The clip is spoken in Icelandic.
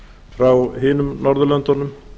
frá hinum norðurlöndunum